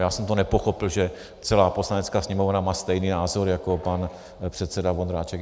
Já jsem to nepochopil, že celá Poslanecká sněmovna má stejný názor jako pan předseda Vondráček.